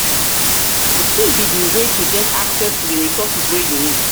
wetin be di way to get um access to di resources wey you need?